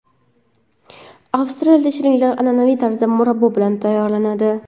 Avstraliyada shirinliklar an’anaviy tarzda murabbo bilan tayyorlanadi.